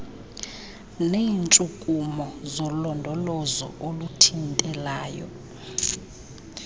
neetshukumo zolondolozo oluthintelayo